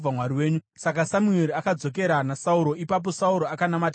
Saka Samueri akadzokera naSauro, ipapo Sauro akanamata Jehovha.